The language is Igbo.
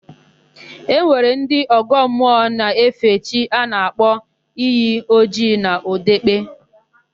E nwere ndị ọgọ mmụọ na-efe chi a na-akpọ Iyi Ojii n'Ọdekpe.